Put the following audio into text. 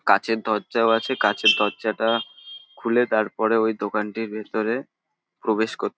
কাঁচের দরজাও আছে কাঁচের দরজাটা খুলে তারপর ঐ দোকানটির ভিতরে প্রবেশ করতে --